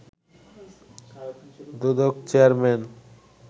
Dudok chairman